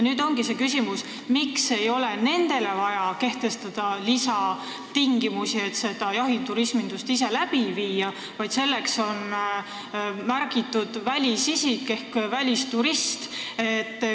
Nüüd ongi küsimus, miks ei ole nendele vaja kehtestada lisatingimusi selle jahiturisminduse korraldamisel, vaid selleks, kellele tingimusi kehtestatakse, on märgitud välisisik ehk välisturist.